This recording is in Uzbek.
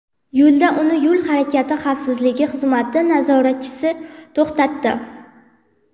Yo‘lda uni yo‘l harakati xavfsizligi xizmati nazoratchisi to‘xtatdi.